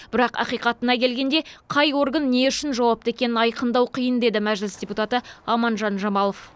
бірақ ақиқатына келгенде қай орган не үшін жауапты екенін айқындау қиын деді мәжіліс депутаты аманжан жамалов